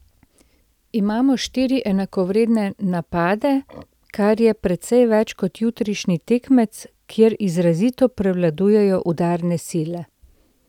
Imamo štiri enakovredne napade, kar je precej več kot jutrišnji tekmec, kjer izrazito prevladujejo udarne sile.